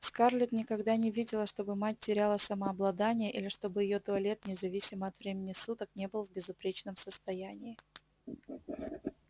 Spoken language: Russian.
скарлетт никогда не видела чтобы мать теряла самообладание или чтобы её туалет независимо от времени суток не был в безупречном состоянии